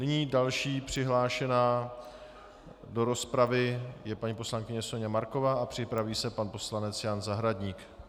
Nyní další přihlášená do rozpravy je paní poslankyně Soňa Marková a připraví se pan poslanec Jan Zahradník.